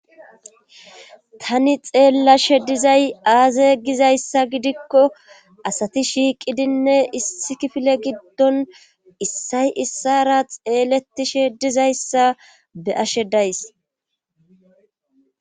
tani xeellashe dizay aaza gizayssa gidikko asati shiiqidinne issi kifile giddon issay issara xeeletishe dizayssa be ashe days